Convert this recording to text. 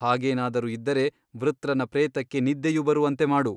ಹಾಗೇನಾದರೂ ಇದ್ದರೆ ವೃತ್ರನ ಪ್ರೇತಕ್ಕೆ ನಿದ್ದೆಯು ಬರುವಂತೆ ಮಾಡು.